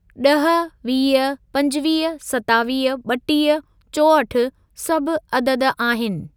ॾह, वीह, पंजवीह, सतावीह, ॿटीह, चोहठि सभ अदद आहिनि।